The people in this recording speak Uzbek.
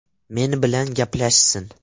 Men bilan gaplashsin.